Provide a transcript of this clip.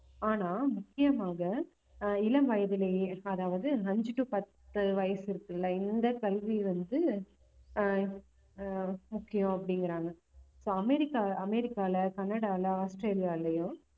ஆனா முக்கியமாக ஆஹ் இளம் வயதிலேயே அதாவது அஞ்சு to பத்து வயசு இருக்குல்ல இந்த கல்வி வந்து ஆஹ் ஆஹ் முக்கியம் அப்படிங்கறாங்க so அமெரிக்கா அமெரிக்கால, கனடால, ஆஸ்திரேலியாலயும்